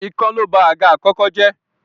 Ikán ló ba àga àkọ́kọ́ jẹ́.